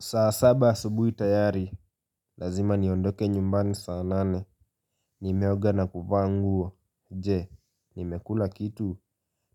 Saa saba asubuhi tayari. Lazima niondoke nyumbani saa nane. Nimeoga na kuvaa nguo. Je, nimekula kitu?